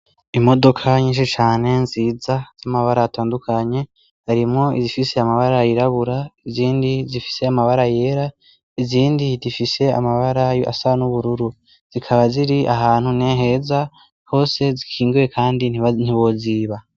Imodoka nyinshi cane nziza, z'amabara atandukanye harimwo izifise amabara yirabura, izindi zifise amabara yera, izindi zifise amabara asa nubururu. Zikaba ziri ahantu neheza hose zikingiwe kandi ntiboziba.